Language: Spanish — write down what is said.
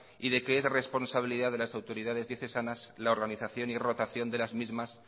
y de que es responsabilidad de las autoridades diocesanas la organización y rotación de las mismas